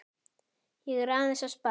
Ég er aðeins að spá.